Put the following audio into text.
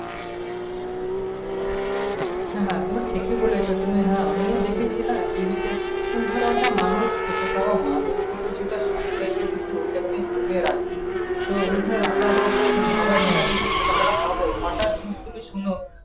হ্যাঁ হ্যাঁ তুমি ঠিকি বলছো। হ্যাঁ আমিও দেখেছি না TV তে ধর একটা মানুষ খেটে খাওয়া মানুষ কিছুটা সঞ্চয় করেছে ওটাকে জমিয়ে রাখবে। তো বোধ হয় রাখার কথা ভাবা সেটা যেটুকু টাকাটা পাবো